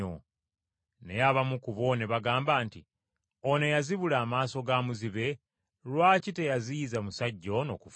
Naye abamu ku bo ne bagamba nti, “Ono eyazibula amaaso ga muzibe, lwaki teyaziyiza musajja ono kufa?”